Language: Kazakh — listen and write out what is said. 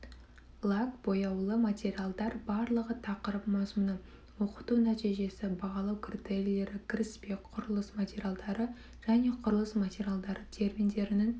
лак бояулы материалдар барлығы тақырып мазмұны оқыту нәтижесі бағалау критерийлері кіріспе құрылыс материалдары және құрылыс материалдары терминдерінің